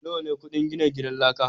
nawa ne kudin gina gidan laka.